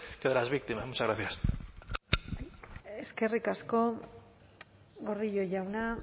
que de las víctimas muchas gracias eskerrik asko gordillo jauna